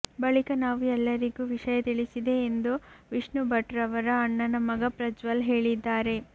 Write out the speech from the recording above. ಬಳಿಕ ನಾವು ಎಲ್ಲರಿಗೂ ವಿಷಯ ತಿಳಿಸಿದೆ ಎಂದು ವಿಷ್ಣು ಭಟ್ರವರ ಅಣ್ಣನ ಮಗ ಪ್ರಜ್ವಲ್ ಹೇಳಿದ್ದಾರೆ